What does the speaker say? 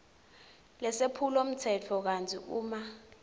lesephulomtsetfo kantsi uma